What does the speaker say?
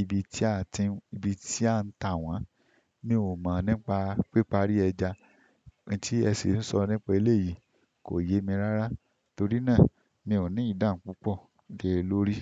Ibi tí a tin, ibi tí a ń ta wọ́n? Mi ò mọ̀ nípa pípa rí ẹja. Ohun tí ẹ sì ń sọ nípa èyí kò yé mi rárá, torí náà mi ò ní ìdánú púpọ̀ lé e lórí.